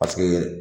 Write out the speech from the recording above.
Paseke